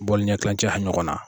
ɲankilancɛ ɲɔgɔn na.